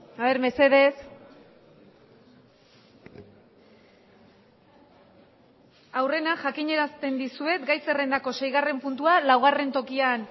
a ver mesedez aurrena jakinarazten dizuet gai zerrendako seigarren puntua laugarren tokian